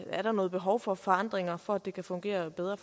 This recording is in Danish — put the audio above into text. er noget behov for forandringer for at det kan fungere bedre